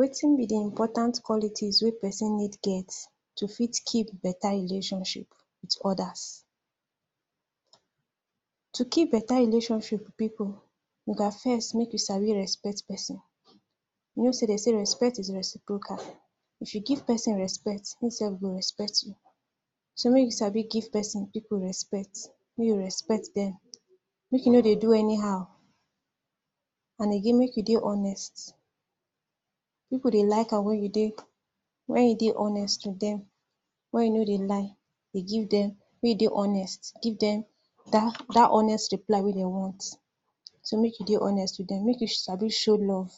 Wetin be di important qualities wey person need get to fit keep beta relationship wit odas? To keep beta relationship wit pipu you gat first mek you sabi respect person. You know sey den sey respect is reciprocal, if you give person respect, e sef go respect you, so mey you sabi give person pipu respect, mey you respect dem, mek you no dey do anyhow. And again mek you dey honest, pipu dey like am wen you dey…wen you dey honest wit dem, wen you no dey lie dey give dem, wey you dey honest, give dem, dat, dat honest reply wey den want, so mek you dey honest wit dem. Mek you sabi show love.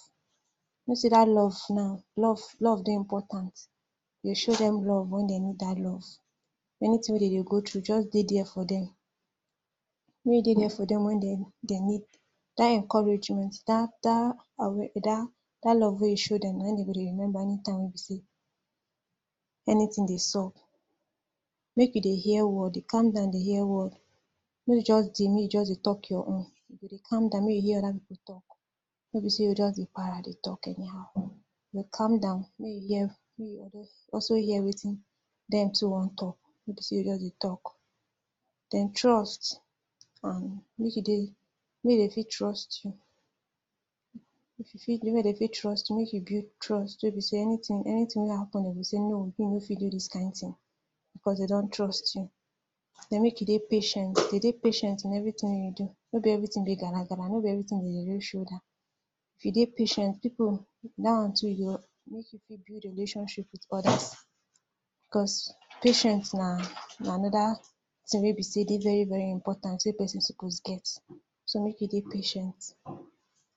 You know sey dat love now, love, love dey important, you go show dem love wen den need dat love, anytin wey den dey go tru just dey dier for dem, mey you dey deir for dem wen den…den need, dat encouragement, dat…dat aware…dat dat love wey you show dem nai den go dey remember anytime wey be sey anytin dey sup. Mek you dey hear word, dey calm down dey hear word, no dey just dey mey you just dey talk your own, you go dey calm down mey you hear oda pipu talk, no be sey you go just dey para, dey talk anyhow, dey calm down, mey you hear, mey you also hear wetin den too wan talk, no be sey you o just dey talk. Den trust, and mek you dey, mey den fit trust you, if you fit, mey den fit trust you, mek you build trust, wey be sey anytin…anytin wey happen, den go sey no o, you no fit do dis kind tin because den don trust you. Den, mek you dey patient, dey dey patient in everytin wey you do, no be everytin be gragra, no be everytin den dey raise shoulder, if you dey patient, pipu, dat one too, e go mek you fit build relationship wit odas because patience na, na anoda tin wey be sey e dey very very important wey person suppose get, so, mek you dey patient,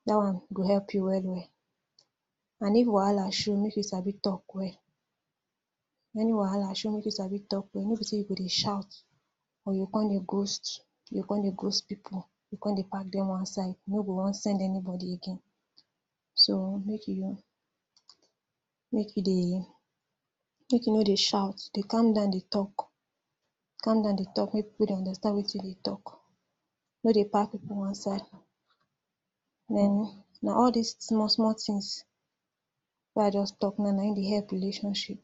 dat one go help you well well and if wahala show mek you sabi talk well, if any wahala show mek you sabi talk well, no be sey you go dey shout or you go kon dey ghost, you o kon dey ghost pipu, you o kon dey park den one side, you no go wan send anybody again. So, mek you, mek you dey, mek you no dey shout. Dey calm down dey talk, dey calm down dey talk mey pipu dey understand wetin you dey talk, no dey park pipu one side. Den, na all dis small small tins wey I just talk now naim dey help relationship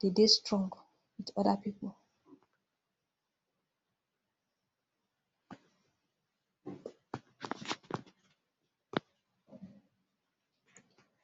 dey dey strong wit oda pipu.